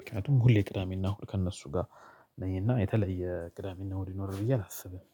ምክንያቱም ሁሌ ቅዳሜ እና እሁድ ከእነሱ ጋር ነኝና የተለየ ቅዳሜና እሁድ ይኖራል ብዬ አላስብም።